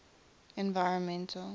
environmental